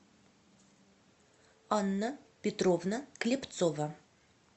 анна петровна клепцова